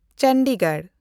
Chandigarh